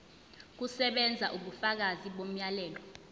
kusebenza ubufakazi bomyalelo